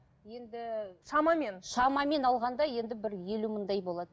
енді шамамен шамамен алғанда енді бір елу мыңдай болады